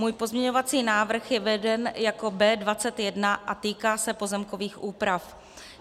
Můj pozměňovací návrh je veden jako B21 a týká se pozemkových úprav.